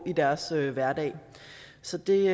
i deres hverdag så det